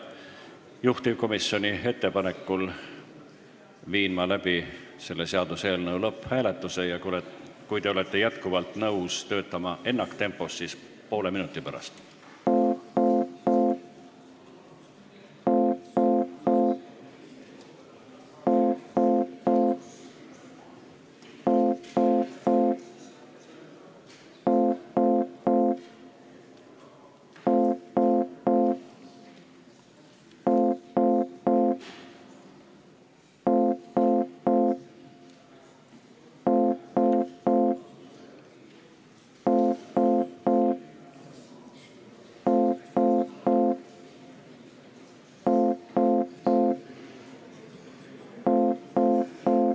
Juhtivkomisjoni ettepanekul viin läbi selle seaduseelnõu lõpphääletuse ja kui te olete jätkuvalt nõus töötama ennaktempos, siis poole minuti pärast.